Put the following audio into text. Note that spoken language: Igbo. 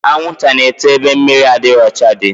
Anwụnta na-eto ebe mmiri adịrọ ọcha dị